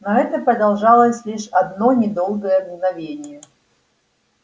но это продолжалось лишь одно недолгое мгновение